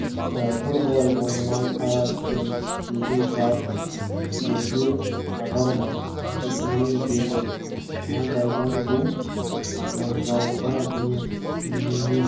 тұр былай жолымнан ара түсем дейтін шығарсың жерге қағармын шетіңнен деді анадайдан бұл жанжалға не немене